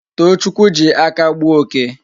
Tochukwu ji aka gbuo oke